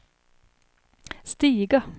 stiga